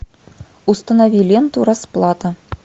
установи ленту расплата